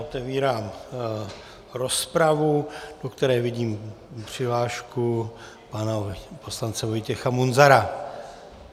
Otevírám rozpravu, do které vidím přihlášku pana poslance Vojtěcha Munzara.